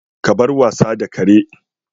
Ka bar wasa da kare!